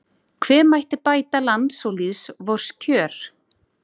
Hve mætti bæta lands og lýðs vors kjör